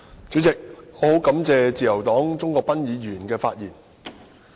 主席，我很感謝自由黨鍾國斌議員的發言。